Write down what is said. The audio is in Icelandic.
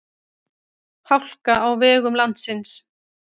Hálka á vegum landsins